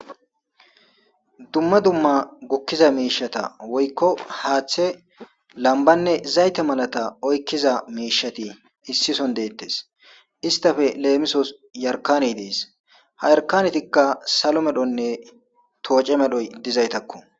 dumma dumma gukkiza miishata woykko haaththe lambanne zayte malata oykkiza miishati issison deettes istafe leemisos yarkaney dees ha yarkanetikka salo medhonne tooce medhoy dizaytakko